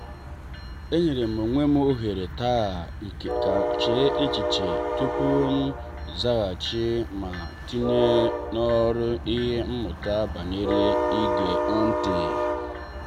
e nyerem onwem oghere taa kam chee echiche tupu m nzaghachi ma tinye n'ọrụ ihe mmụta banyere ige ntị.